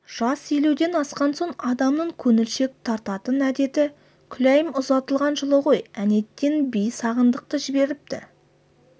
жас елуден асқан соң адамның көңілшек тартатын әдеті күләйім ұзатылған жылы ғой әнетей би сағындықты жіберіпті